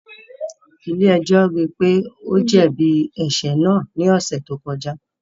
Ile-ẹjọ rii pe o jẹbi ẹṣẹ naa ni ọsẹ to kọja